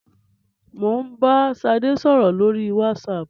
Mo ń bá Ṣadé sọ̀rọ̀ lórí WhatsApp.